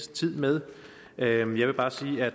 med jeg vil bare sige at